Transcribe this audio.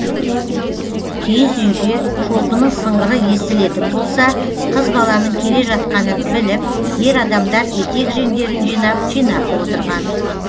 киіз үйге шолпының сыңғыры естілетін болса қыз баланың кележатқанын біліп ер адамдар етек жеңдерін жинап жинақы отырған